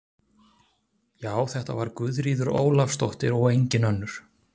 Já, þetta var Guðríður Ólafsdóttir og engin önnur!